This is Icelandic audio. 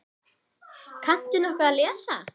Kanntu nokkuð að lesa?